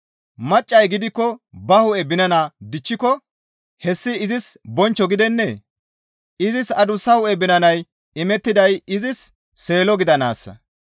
Maccay gidikko ba hu7e binana dichchiko hessi izis bonchcho gidennee? Izis adussa hu7e binanay imettiday izis seelo gidanaassa.